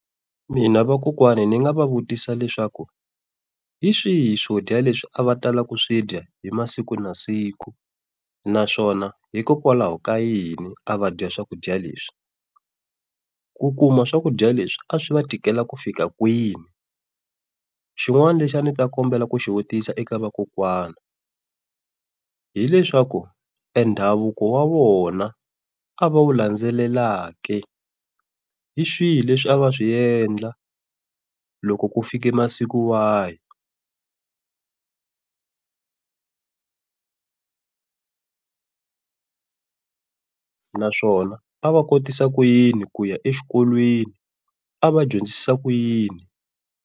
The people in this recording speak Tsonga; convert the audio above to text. Mina vakokwani ni nga va vutisa leswaku, hi swihi swodya leswi a va tala ku swi dya hi masiku na masiku, naswona hikokwalaho ka yini a va dya swakudya leswi. Ku kuma swakudya leswi a swi va tikela ku fika kwini. Xin'wana lexi a ndzi ta kombela ku xivutiso eka vakokwana, hileswaku endhavuko wa vona a va wu landzelelaka ke, hi swihi leswi a va swi endla loko ku fike masiku wahi naswona a va kotisa ku yini ku ya exikolweni a va dyondzisa ku yini?